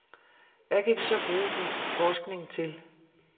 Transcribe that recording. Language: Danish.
Hvad kan vi så bruge din forskning til.